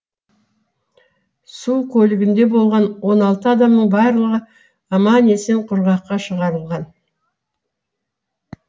су көлігінде болған он алты адамның барлығы аман есен құрғаққа шығарылған